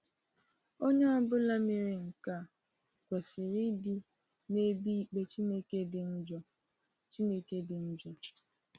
Onye ọ bụla mere nke a kwesiri ịdị n’ebe ikpe Chineke dị njọ. Chineke dị njọ.